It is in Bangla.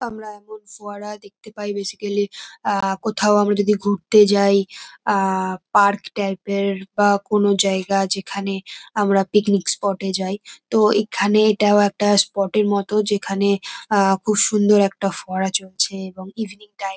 আমরা এখন ফোয়ারা দেখতে পাই বেসিকালি কোথাও আমরা যদি ঘুরতে যাই আর পার্ক টাইপ এর বা কোন জায়গা যেখানে আমরা পিকনিক স্পট - এ যাই । তো এখানে এটাও একটা স্পট এর মতো যেখানে খুব সুন্দর একটা ফোয়ারা চলছে এবং এভেনিং টাইম ।